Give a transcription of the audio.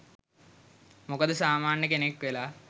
මොකද සාමාන්‍ය කෙනෙක් වෙලා